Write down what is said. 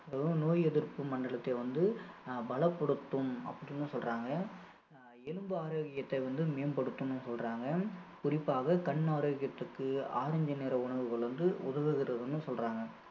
அதுவும் நோய் எதிர்ப்பு மண்டலத்தை வந்து பலப்படுத்தும் அப்படின்னு சொல்றாங்க அஹ் எலும்பு ஆரோக்கியத்தை வந்து மேம்படுத்தும்னு சொல்றாங்க குறிப்பாக கண் ஆரோக்கியத்திற்கு orange நிற உணவுகள் வந்து உதவுகிறதுன்னு சொல்றாங்க